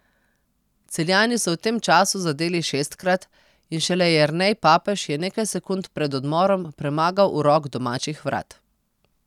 Celjani so v tem času zadeli šestkrat in šele Jernej Papež je nekaj sekund pred odmorom premagal urok domačih vrat.